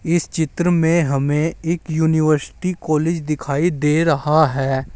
इस चित्र में हमें एक यूनिवर्सिटी कॉलेज दिखाई दे रहा है।